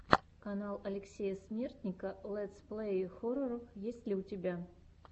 канал алексея смертника летсплеи хорроров есть ли у тебя